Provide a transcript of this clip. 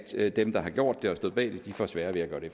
at dem der har gjort det og stod bag det får sværere ved at gøre det